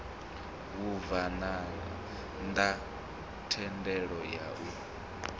vhabvann ḓa thendelo ya u